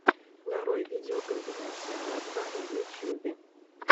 нарой видеокомпиляция владвана в ютьюбе